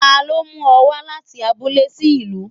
Talọ́ lo mu ọ wa láti abúlé sí ìlú?